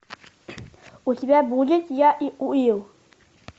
у тебя будет я и уилл